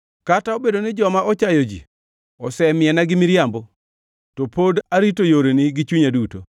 Kata obedo ni joma ochayo ji osemiena gi miriambo, to pod arito yoreni gi chunya duto.